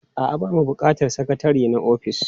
A'a, ba ma buƙatar sakatare na ofis.